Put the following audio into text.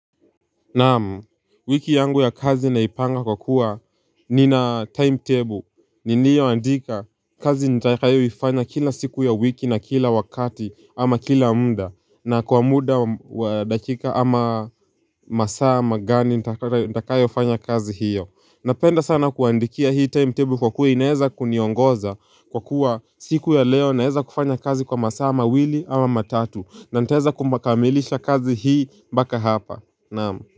Naam, wiki yangu ya kazi naipanga kwa kuwa nina timetable. Niniyo andika kazi nitakayo ifanya kila siku ya wiki na kila wakati ama kila mda. Na kwa muda wa dakika ama masaa magani nitakayo fanya kazi hiyo. Napenda sana kuandikia hii timetable kwa kuwa inaeza kuniongoza kwa kuwa siku ya leo naeza kufanya kazi kwa masaa mawili ama matatu. Na ntaeza kumbakamilisha kazi hii mbaka hapa. Naam.